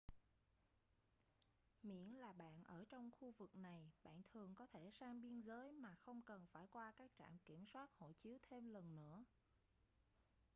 miễn là bạn ở trong khu vực này bạn thường có thể sang biên giới mà không cần phải qua các trạm kiểm soát hộ chiếu thêm lần nữa